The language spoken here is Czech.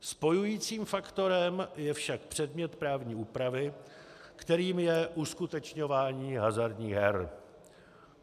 Spojujícím faktorem je však předmět právní úpravy, kterým je uskutečňování hazardních her.